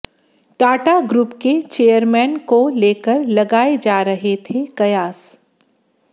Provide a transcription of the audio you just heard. Tata group के chairman को लेकर लगाए जा रहे थे कयास